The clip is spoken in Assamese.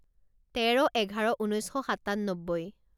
তেৰ এঘাৰ ঊনৈছ শ সাতান্নব্বৈ